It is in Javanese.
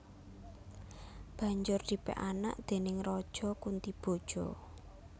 Banjur dipek anak déning Raja Kuntiboja